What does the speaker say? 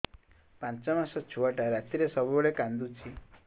ପାଞ୍ଚ ମାସ ଛୁଆଟା ରାତିରେ ସବୁବେଳେ କାନ୍ଦୁଚି